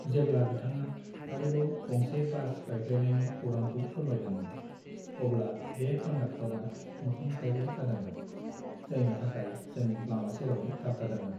जेब्ला बिथाङा आरोबाव गंसे बास बायफ्लेनायनि खौरांखौ फोरमायदोंमोन, अब्ला बे कन्डाक्टरा मोखां सायर' जादोंमोन, जायनि थाखाय जों लामा सेरावनो थाबथादोंमोन।